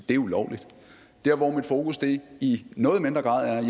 det er ulovligt der hvor mit fokus i noget mindre grad er